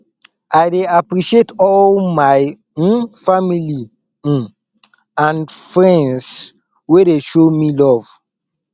i dey appreciate all my um family um and friends wey dey show me love